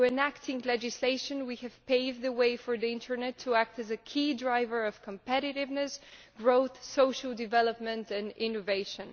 Through enacting legislation, we have paved the way for the internet to act as a key driver of competitiveness, growth, social development and innovation.